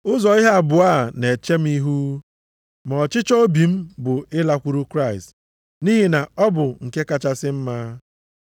Ụzọ ihe abụọ a na-eche m ihu: Ma ọchịchọ obi m bụ ịlakwuru Kraịst, nʼihi na ọ bụ nke kachasị mma.